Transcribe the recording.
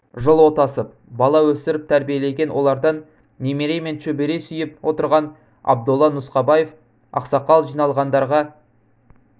жыл отасып бала өсіріп тәрбиелеген олардан немере мен шөбере сүйіп отырған абдолла нұсқабаев ақсақал жиналғандарға